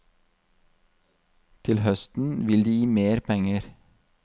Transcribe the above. Til høsten vil de gi mer penger.